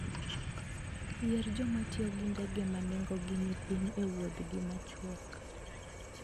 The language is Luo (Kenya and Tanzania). Yier joma tiyo gi ndege ma nengogi ni piny e wuodhgi machuok.